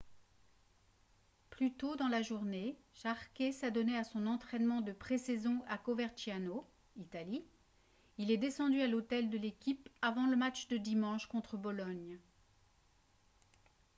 plus tôt dans la journée jarque s'adonnait à son entraînement de pré-saison à coverciano italie. il est descendu à l'hôtel de l'équipe avant le match de dimanche contre bologne